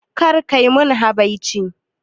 Kar kai mun habaici